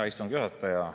Hea istungi juhataja!